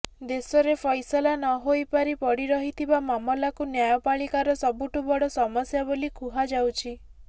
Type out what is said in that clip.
ଦେଶରେ ଫଇସଲା ନହୋଇପାରି ପଡିରହିଥିବା ମାମଲା କୁ ନ୍ୟାୟପାଳିକା ର ସବୁଠୁ ବଡ ସମସ୍ୟା ବୋଲି କୁହାଯାଉଛି